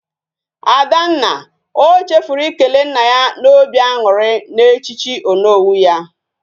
Adanna, o chefuru ikele nna ya na obi añuri na echichi Onowu ya.